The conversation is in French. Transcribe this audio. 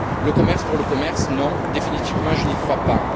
Le commerce pour le commerce, non, définitivement, je n'y crois pas.